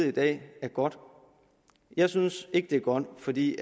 i dag er godt jeg synes ikke det er godt fordi